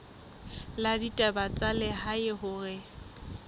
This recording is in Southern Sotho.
la ditaba tsa lehae hore